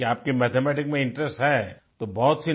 क्योंकि आपकी मैथमेटिक्स में इंटरेस्ट है तो बहुत